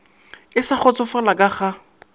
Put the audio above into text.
e sa kgotsofala ka ga